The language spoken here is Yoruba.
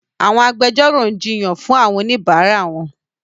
Àwọn agbẹjọ́rò ń jiyàn fún àwọn oníbàárà wọn.